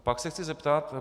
Pak se chci zeptat.